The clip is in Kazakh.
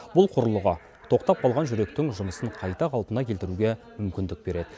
бұл құрылғы тоқтап қалған жүректің жұмысын қайта қалпына келтіруге мүмкіндік береді